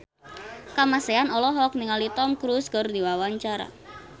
Kamasean olohok ningali Tom Cruise keur diwawancara